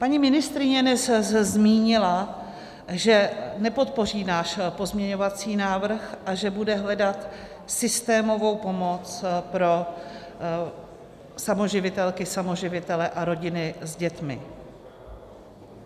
Paní ministryně dnes zmínila, že nepodpoří náš pozměňovací návrh a že bude hledat systémovou pomoc pro samoživitelky, samoživitele a rodiny s dětmi.